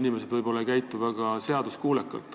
inimesed võib-olla ei käitu väga seaduskuulekalt.